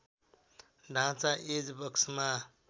ढाँचा एज बक्समा